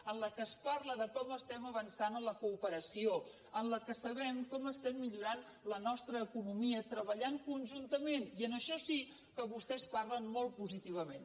en el qual es parla del com estem avançant en la cooperació amb el qual sabem com estem millorant la nostra economia treballant conjuntament i en això sí que vostès parlen molt positivament